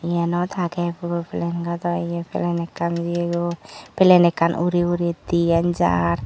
yenot agey puro plen gado ye plen ekkan jeyegoi plen ekkan uri uri diyan jar.